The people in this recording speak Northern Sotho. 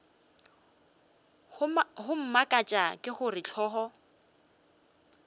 go mmakatša ke gore hlogo